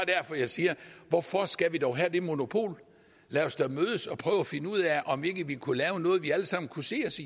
derfor jeg siger hvorfor skal vi dog have det monopol lad os da mødes og prøve at finde ud af om vi ikke kunne lave noget vi alle sammen kunne se os